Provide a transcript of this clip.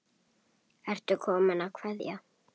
Ertu kominn að kveðja?